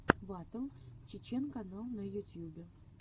батл чечен канал на ютьюбе